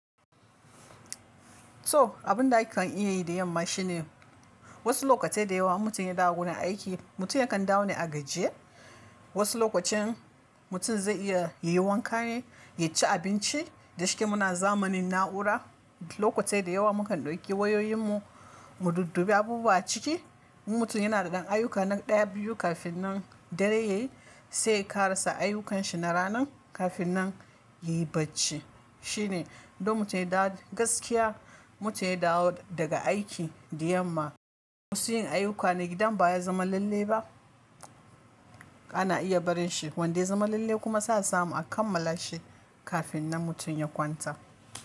So abin da akan iya yi da yamma shine wasu lokatai da yawa in mutum ya dawo gurin aiki, mutum yakan dawo ne a gajiye. Wasu lokacin mutum zai iya ya yi wanka ne, ya ci abinci. Da shike muna zamanin na'ura, lokatai da yawa mukan dauki wayoyin mu mu duddube abubuwa ciki. Mutum yana da kan ayyuka nan ɗaya, biyu kafin nan dare ya yi sai ya ka rasa ayyukanshi na ranan kafin nan yayi bacci. Shine don mutum ya da gaskiya, mutum ya dawo daga aiki da yamma. Wasu yin ayyuka na gidan baya zama lalle ba. Ana iya barin shi wanda ya zama lalle kuma sa samu a kammala shi kafin nan mutum ya kwanta.